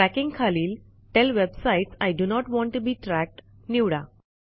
tracking खालील tell web sites I D O not want T O B E tracked निवडा